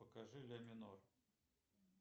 покажи ля минор